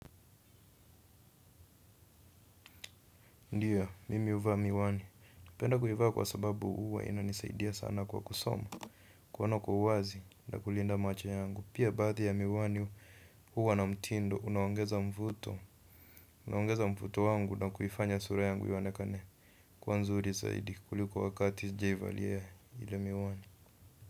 Ndio, mimi huvaa miwani, napenda kuivaa kwa sababu huwa inanisaidia sana kwa kusoma, kuona kwa uwazi na kulinda macho yangu, pia baadhi ya miwani huwa na mtindo, unaongeza mvuto, unaongeza mvuto wangu na kuifanya sura yangu ionekane, kuwa nzuri zaidi kuliko wakati sijaivalia ile miwani.